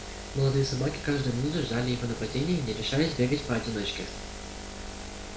молодые собаки каждую минуту ждали его нападения и не решались бегать поодиночке